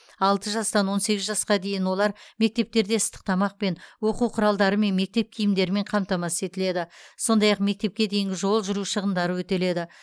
алты жастан он сегіз жасқа дейін олар мектептерде ыстық тамақпен оқу құралдары мен мектеп киімдерімен қамтамасыз етіледі сондай ақ мектепке дейінгі жол жүру шығындары өтеледі